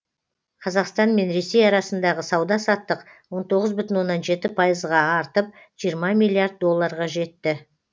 қазақстан мен ресей арасындағы сауда саттық он тоғыз бүтін оннан жеті пайызға артып жиырма миллиард долларға жетті